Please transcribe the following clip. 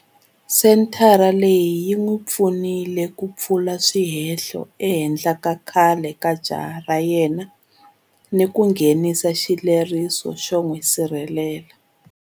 Senthara leyi yi n'wi pfunile ku pfula swihehlo ehenhla ka khale ka jaha ra yena ni ku nghenisa xileriso xo n'wi sirhelela.